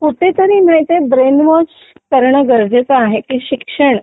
कुठेतरी माहिती brainwash करणे गरजेचा आहे की शिक्षण